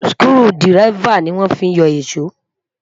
skru diraifa ní wọn fí yó iso